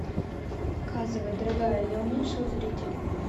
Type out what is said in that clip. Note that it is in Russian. показывай дорогая я уменьшил зрителей